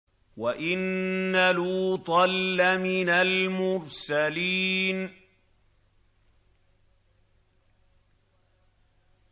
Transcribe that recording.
وَإِنَّ لُوطًا لَّمِنَ الْمُرْسَلِينَ